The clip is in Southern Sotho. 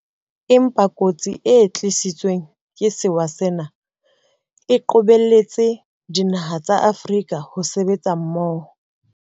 Empa kotsi e tlisitsweng ke sewa sena e qobelletse dinaha tsa Afrika ho sebetsa mmoho.